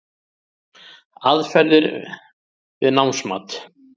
Aðferðir við námsmat